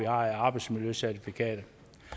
arbejdsmiljøcertifikat